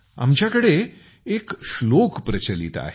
आमच्या कडे एक श्लोक प्रचलित आहे